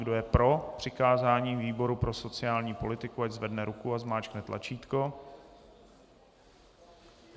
Kdo je pro přikázání výboru pro sociální politiku, ať zvedne ruku a zmáčkne tlačítko.